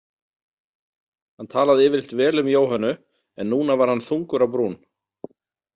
Hann talaði yfirleitt vel um Jóhönnu en núna var hann þungur á brún.